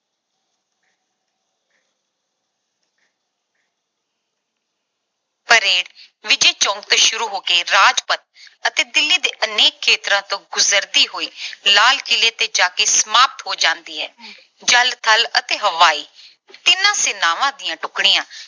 parade Vijay Chowk ਤੋਂ ਸ਼ੁਰੂ ਹੋ ਕੇ ਰਾਜਪਥ ਅਤੇ ਦਿੱਲੀ ਦੇ ਅਨੇਕ ਖੇਤਰਾਂ ਤੋਂ ਗੁਜਰਦੀ ਹੋਈ ਲਾਲ ਕਿਲ੍ਹੇ ਤੇ ਜਾ ਕੇ ਸਮਾਪਤ ਹੋ ਜਾਂਦੀ ਹੈ। ਜਲ, ਥਲ ਅਤੇ ਹਵਾਈ ਤਿੰਨੋਂ ਸੈਨਾਵਾਂ ਦੀਆਂ ਟੁਕੜੀਆਂ